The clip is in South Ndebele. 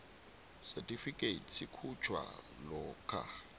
certificate sikhutjhwa lokha